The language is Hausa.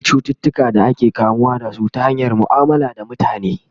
akwai cututuka da ake kamuwa da su ta hanyar muamala da mutane